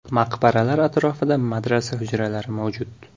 Maqbaralar atrofida madrasa hujralari mavjud.